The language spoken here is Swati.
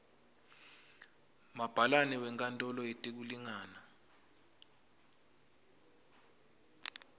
mabhalane wenkantolo yetekulingana